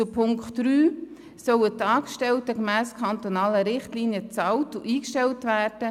Zu Punkt 3: Die Angestellten sollen gemäss kantonalen Richtlinien bezahlt und angestellt werden.